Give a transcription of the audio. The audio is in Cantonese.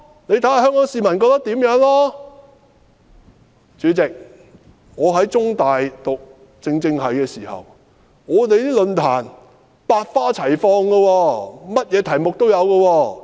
主席，我在中文大學政治與行政學系就讀時，我們的論壇百花齊放，甚麼題目也有。